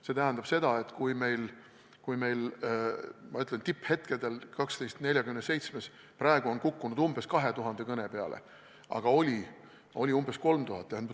See tähendab seda, et meil on, nagu ma ütlesin, tipphetkedel telefon 1247 praegu kukkunud 2000 kõne peale, aga oli umbes 3000.